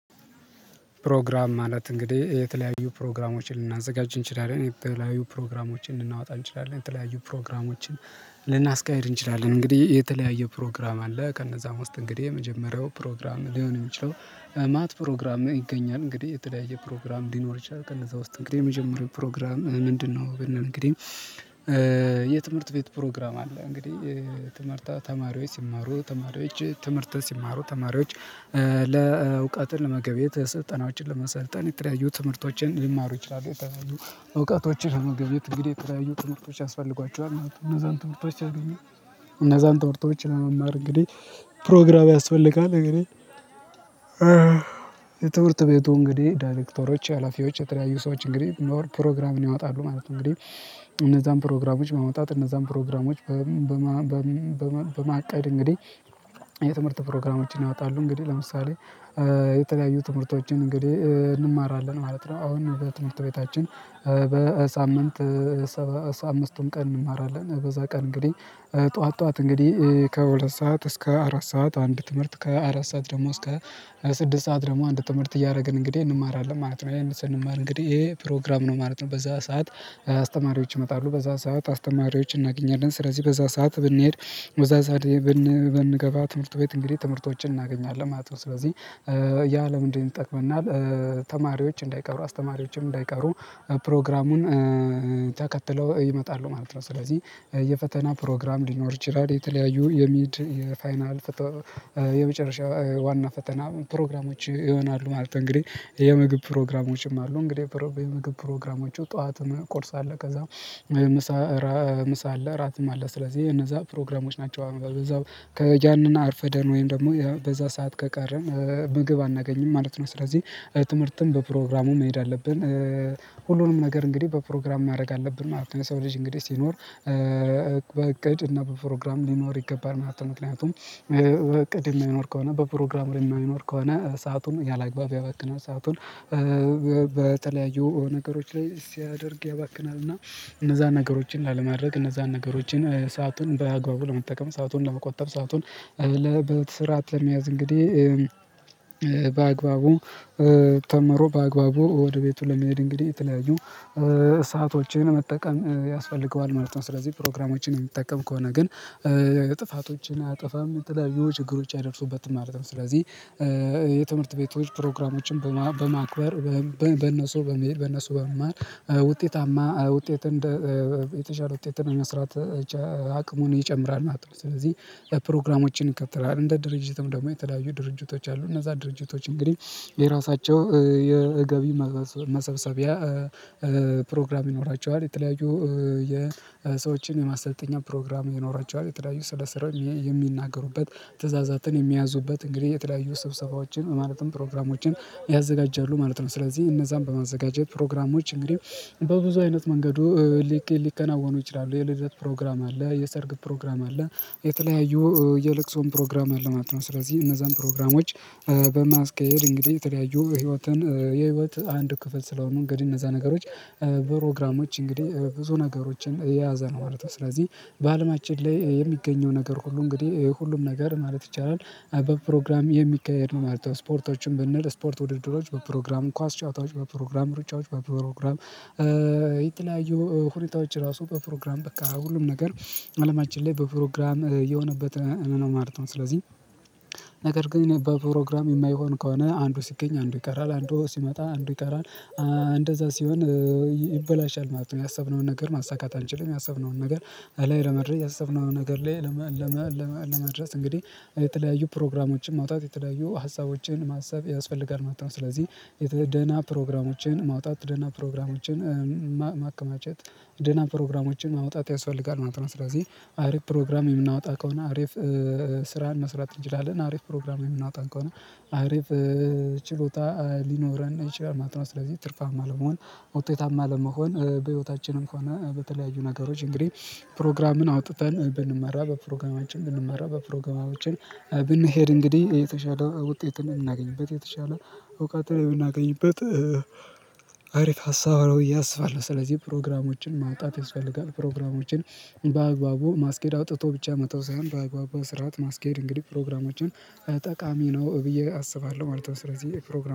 ፕሮግራም ማለት እንግዲህ የተለያዩ ፕሮግራሞችን ልናዘጋጅ እንችላለን የተለያዩ ፕሮግራሞችን ልናወጣ እንችላለን የተለያዩ ፕሮግራሞችን ልናስቅድ እንችላለን እንግዲህ የተለያየ ፕሮግራም አለ። ከነዛም ውስጥ እንግዲህ የመጀመሪያው ፕሮግራም ሊሆን የሚችለው ማለት ፕሮግራም ይገኛል። እንግዲህ የተለያየ ፕሮግራም ሊኖር ይችላል ቀን እዛ ውስጥ እንግዲህ የመጀመሪያው ፕሮግራም ምንድነው? ብንል እንግዲህ የትምህርት ቤት ፕሮግራም አለ። እንግዲህ ትምህርታ ተማሪዎች ሲማሩ ተማሪዎች ትምህርትን ሲማሩ ተማሪዎች ለእውቀትን ለመገብየት ስልጠናዎችን ለመሰልጠን የተለያዩ ትምህርቶችን ሊማሩ ይችላሉ። የተለያዩ እውቀቶችን ለማገኘት እንግዲህ የተለያዩ ትምህርቶች ያስፈልጓቸዋል እና እነዛን ትምህርቶች ሲያገኙ እነዛን ትምህርቶች ለመማር እንግዲህ ፕሮግራም ያስፈልጋል። እንግዲህ የትምርት ቤቱ እንግዲህ ዳይሬክተሮች ሀላፊዎች የተለያዩ ሰዎች እንግዲህ ኖር ፕሮግራም ያወጣሉ ማለት ነው። እንግዲህ እነዛን ፕሮግራሞች በማውጣት እነዛን ፕሮግራሞች በማቀድ እንግዲህ የትምህርት ፕሮግራሞችን ያወጣሉ። እንግዲህ ለምሳሌ የተለያዩ ትምህርቶችን እንግዲህ እንማራለን ማለት ነው አሁን በትምህርት ቤታችን። በሳምንት አምስቱን ቀን እንማራለን በዛ ቀን እንግዲህ ጠዋት ጠዋት እንግዲህ ከሁለት ሰዓት እስከ አራት ሰዓት አንድ ትምህርት ከአራት ሰዓት ደግሞ እስከ ስድስት ሰዓት ደግሞ አንድ ትምህርት እያደረግን እንግዲህ እንማራለን ማለት ነው። ያን ስንማር እንግዲህ ይሄ ፕሮግራም ነው ማለት ነው። በዛ ሰዓት አስተማሪዎች ይመጣሉ በዛ ሰዓት አስተማሪዎች እናገኛለን ስለዚህ በዛ ሰዓት ብንሄድ በዛ ሰዓት ብንገባ ትምህርት ቤት እንግዲህ ትምህርቶችን እናገኛለን ማለት ነው። ስለዚህ ያለ ለምንድን ይጠቅመናል? ተማሪዎች እንዳይቀሩ አስተማሪዎችም እንዳይቀሩ ፕሮግራሙን ተከትለው ይመጣሉ ማለት ነው። ስለዚህ የፈተና ፕሮግራም ሊኖር ይችላል የተለያዩ የሚድ የፋይናል የመጨረሻ ዋና ፈተና ፕሮግራሞች ይሆናሉ ማለት ነው። እንግዲህ የምግብ ፕሮግራሞችም አሉ እንግዲህ የምግብ ፕሮግራሞቹ ጠዋት ቁርስ አለ። ከዛ ምሳ ምሳ አለ እራትም ስለዚህ እነዛ ፕሮግራሞች ናቸው። አሁን ከያንንና አርፈደን ወይም ደግሞ በዛ ሰዓት ከቀረን ምግብ አናገኝም ማለት ነው። ስለዚህ ትምህርትን በፕሮግራሙ መሄድ አለብን። ሁሉንም ነገር እንግዲህ በፕሮግራም ማድረግ አለብን ማለት ነው። ሰው ልጅ እንግዲህ ሲኖር በእቅድ እና በፕሮግራም ሊኖር ይገባል ማለት ነው። ምክንያቱም እቅድ የማይኖር ከሆነ በፕሮግራም የማይኖር ከሆነ ሰአቱን ያላግባብ ያባክናል ሰአቱን በተለያዩ ነገሮች ላይ ሲያደርግ ያባክናል። እና እነዛ ነገሮችን ላለማድረግ እነዛን ነገሮችን ሰአቱን በአግባቡ ለመጠቀም ሰአቱን ለመቆጠብ ሰአቱን በስርዓት ለመያዝ እንግዲህ። በአግባቡ ተምሮ በአግባቡ ወደ ቤቱ ለመሄድ እንግዲህ የተለያዩ ሰአቶችን መጠቀም ያስፈልገዋል ማለት ነው። ስለዚህ ፕሮግራሞችን የሚጠቀም ከሆነ ግን ጥፋቶችን አያጠፋም የተለያዩ ችግሮች አይደርሱበትም ማለት ነው። ስለዚህ የትምህርት ቤቶች ፕሮግራሞችን በማክበር በነሱ በመሄድ በነሱ በመማር ውጤታማ ውጤት እንደ የተሻለ ውጤትን መስራት አቅሙን ይጨምራል ማለት ነው። ስለዚህ የፕሮግራሞችን ይከተላል እንደ ድርጅትም ደግሞ የተለያዩ ድርጅቶች አሉ እነዛ ድርጅቶች እንግዲህ የራሳቸው የገቢ መሰብሰቢያ ፕሮግራም ይኖራቸዋል። የተለያዩ የሰዎችን የማሰልጠኛ ፕሮግራም ይኖራቸዋል የተለያዩ ስለሰራው የሚናገሩበት ትእዛዛትን የሚያዙበት እንግዲህ የተለያዩ ስብሰባዎችን ማለትም ፕሮግራሞችን ያዘጋጃሉ ማለት ነው። ስለዚህ እነዛን በማዘጋጀት ፕሮግራሞች እንግዲህ በብዙ አይነት መንገዱ ሊከናወኑ ይችላሉ። የልደት ፕሮግራም አለ የሰርግ ፕሮግራም አለ የተለያዩ የለቅሶም ፕሮግራም አለ ማለት ነው። ስለዚህ እነዛን ፕሮግራሞች ለማስቀየር እንግዲህ የተለያዩ ህይወትን የህይወት አንድ ክፍል ስለሆኑ እንግዲህ እነዛ ነገሮች ፕሮግራሞች እንግዲህ ብዙ ነገሮችን የያዘ ነው ማለት ነው። ስለዚህ በአለማችን ላይ የሚገኘው ነገር ሁሉ እንግዲህ ሁሉም ነገር ማለት ይቻላል በፕሮግራም የሚካሄድ ነው ማለት ነው። ስፖርቶችን ብንል ስፖርት ውድድሮች በፕሮግራም ኳስ ጨዋታዎች በፕሮግራም ሩጫዎች በፕሮግራም። የተለያዩ ሁኔታዎች ራሱ በፕሮግራም በቃ ሁሉም ነገር አለማችን ላይ በፕሮግራም የሆነበት ነው ማለት ነው። ስለዚህ ነገር ግን በፕሮግራም የማይሆን ከሆነ አንዱ ሲገኝ አንዱ ይቀራል አንዱ ሲመጣ አንዱ ይቀራል። እንደዛ ሲሆን ይበላሻል ማለት ነው። ያሰብነውን ነገር ማሳካት አንችልም። ያሰብነውን ነገር ላይ ለመድረስ ያሰብነውን ነገር ላይ ለመድረስ እንግዲህ የተለያዩ ፕሮግራሞችን ማውጣት የተለያዩ ሀሳቦችን ማሰብ ያስፈልጋል ማለት ነው። ስለዚህ ደና ፕሮግራሞችን ማውጣት ደህና ፕሮግራሞችን ማከማቸት ደህና ፕሮግራሞችን ማውጣት ያስፈልጋል ማለት ነው። ስለዚህ አሪፍ ፕሮግራም የምናወጣ ከሆነ አሪፍ ስራን መስራት እንጂ እንችላለን አሪፍ ፕሮግራም የምናወጣ ከሆነ አሪፍ ችሎታ ሊኖረን ይችላል ማለት ነው። ስለዚህ ትርፋማ ለመሆን ውጤታማ ለመሆን በህይወታችንም ከሆነ በተለያዩ ነገሮች እንግዲህ ፕሮግራምን አውጥተን ብንመራ በፕሮግራማችን ብንመራ በፕሮግራማችን ብንሄድ እንግዲህ የተሻለ ውጤትን የምናገኝበት የተሻለ እውቀት የምናገኝበት አሪፍ ሀሳብ ነው ብየ አስባለሁ። ስለዚህ ፕሮግራሞችን ማውጣት ያስፈልጋል። ፕሮግራሞችን በአግባቡ ማስኬድ አውጥቶ ብቻ መተው ሳይሆን በአግባቡ በስርዓት ማስኬድ እንግዲህ ፕሮግራሞችን ጠቃሚ ነው ብዬ አስባለሁ ማለት ነው። ስለዚህ ፕሮግራም